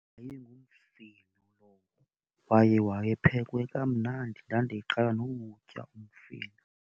Wayengumfino lowo kwaye wayephekwe kamnandi, ndandiqala nowutya umfino.